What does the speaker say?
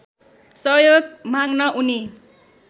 सहयोग माग्न उनी